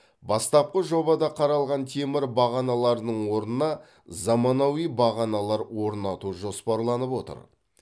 бастапқы жобада қаралған темір бағаналардың орнына заманауи бағаналар орнату жоспарланып отыр